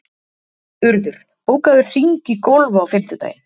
Urður, bókaðu hring í golf á fimmtudaginn.